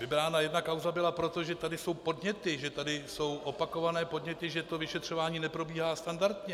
Vybrána jedna kauza byla proto, že tady jsou podněty, že tady jsou opakované podněty, že to vyšetřování neprobíhá standardně.